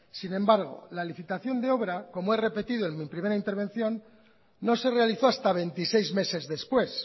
sin embargo la licitación de obra como he repetido en mi primera intervención no se realizó hasta veintiséis meses después